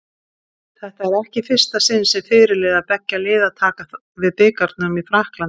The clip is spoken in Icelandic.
Þetta er ekki í fyrsta sinn sem fyrirliðar beggja liða taka við bikarnum í Frakklandi.